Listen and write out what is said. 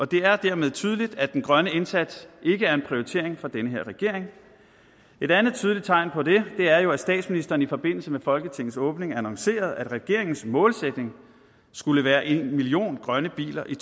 det er dermed tydeligt at den grønne indsats ikke er en prioritering for den her regering et andet tydeligt tegn på det er jo at statsministeren i forbindelse med folketingets åbning annoncerede at regeringens målsætning skulle være en million grønne biler i